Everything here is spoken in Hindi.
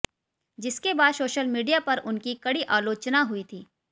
जिसके बाद सोशल मीडिया पर उनकी कड़ी आलोचना हुई थी